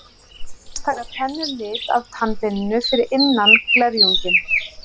Annars taka tennur lit af tannbeininu fyrir innan glerunginn.